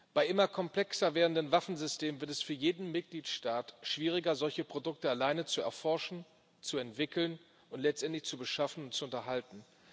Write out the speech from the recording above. Bei immer komplexer werdenden Waffensystemen wird es für jeden Mitgliedstaat schwieriger, solche Produkte alleine zu erforschen, zu entwickeln und letztendlich zu beschaffen und zu unterhalten.